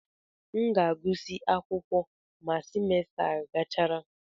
M ga-agụsị akwụkwọ ma semester a gachara.